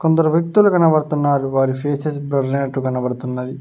కొందరు వ్యక్తులు కనబడుతున్నారు వారి ఫేసెస్ బ్లర్ అయినట్టు కనబడుతున్నది.